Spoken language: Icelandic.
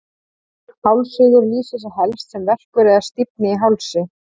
Hálsrígur lýsir sér helst sem verkur eða stífni í hálsi.